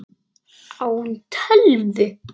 Á hún tölvu?